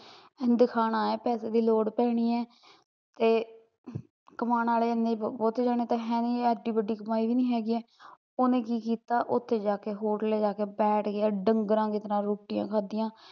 ਦਿਖਾਉਣਾ ਐ ਪੈਸੇ ਦੀ ਲੋੜ ਪੈਣੀ ਐ ਤੇ, ਕਮਾਉਣ ਵਾਲੇ ਏਨੇ ਬਹੁਤੇ ਜਣੇ ਤਾਂ ਨਹੀਂ ਹੈਗੇ ਏਡੀ ਵੱਡੀ ਕਮਾਈ ਵੀ ਨੀ ਹੈਗੀ ਐ ਉਹਨੇ ਕੀ ਕੀਤਾ ਉੱਥੇ ਜਾ ਕੇ ਹੋਰ ਲਿਜਾ ਕੇ ਬੈਠ ਗਿਆ ਡੰਗਰਾਂ ਦੀ ਤਰਾਂ ਰੋਟੀਆ ਖਾਂਦੀਆ